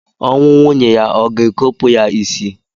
Ọnwụ nwunye ya o ga-ekopu ya isi?